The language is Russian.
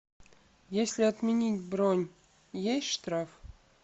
если отменить бронь есть штраф